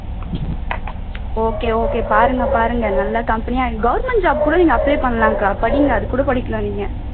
okay okay பாருங்க பாருங்க நல்லா company government job கூட நீங்க apply பண்ணலாம்க்கா படிங்க அது கூட படிக்கலாம் நீங்க